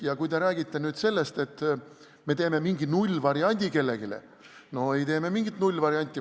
Ja kui te räägite nüüd sellest, et me teeme kellelegi mingi nullvariandi – no ei tee me mingit nullvarianti.